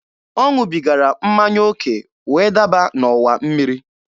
Ọ ṅụbigara mmanya oke wee daba n'ọwa mmiri.